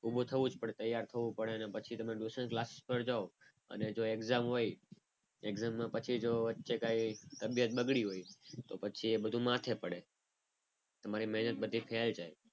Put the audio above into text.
ઉભો થવું જ પડે તૈયાર થવું પડે ને પછી ટ્યુશન ક્લાસીસ પર જાવ અને જો exam હોય exam માં પછી જો વચ્ચે કઈ તબિયત બગડી હોય તો પછી એ બધું માથે પડે. તમારી બધી મહેનત ફેલ જાય.